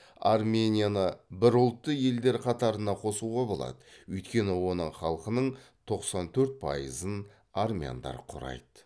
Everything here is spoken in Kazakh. арменияны бірұлтты елдер қатарына қосуға болады өйткені оның халқының тоқсан төрт пайызын армяндар құрайды